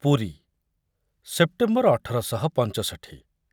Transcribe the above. Puri September ଅଠର ଶହ ପଞ୍ଚଷଠି